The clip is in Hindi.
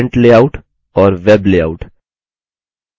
यह हैं print layout और web layout